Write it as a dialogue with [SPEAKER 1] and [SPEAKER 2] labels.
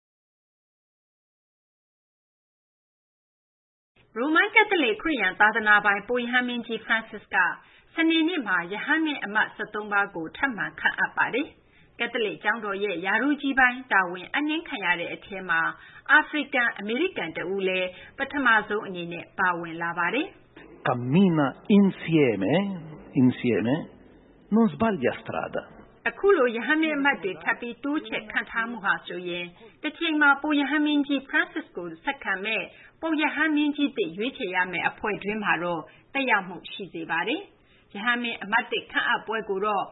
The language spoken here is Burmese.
[SPEAKER 1] ရိုမန်ကက်သလစ် ခ
[SPEAKER 2] ရစ်ယာန် သာသနာပိုင် ပုပ်ရဟန်းမင်းကြီး Francis က စနေနေ့မှာ ရဟန်းမင်း အမတ် ၁၃ ပါးကို ထပ်မံခန့်အပ်ပါတယ်။ ကက်သလစ် ကျောင်းတော်ရဲ့ ရာထူးကြီးပိုင်း တာဝန်အပ်နှင်းခံရတဲ့အထဲမှာ အာဖရိကန်-အမေရိကန် တဦးလည်း ပထမဆုံးအနေနဲ့ ပါဝင်လာပါတယ်
[SPEAKER 3] ။
[SPEAKER 2] အခုလို ရဟန်းမင်းအမတ်တွေ ထပ်မံတိုးချဲ့ ခန့်ထားမှုဟာဆိုရင် တချိန်မှာ ပုပ်ရဟန်းမင်းကြီး Farncis ကို ဆက်ခံမယ့် ပုပ်ရဟန်းမင်းကြီးသစ် ရွေးချယ်ရမယ့် အဖွဲ့တွင်းမှာတော့ သက်ရောက်မှု ရှိစေပါတယ်။ ရဟန်းမင်းအမတ်သစ် ခန့်အပ်ပွဲကိုတော့